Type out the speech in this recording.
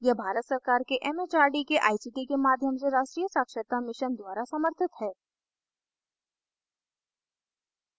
यह भारत सरकार के it it आर डी के आई सी टी के माध्यम से राष्ट्रीय साक्षरता mission द्वारा समर्थित है